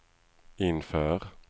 inför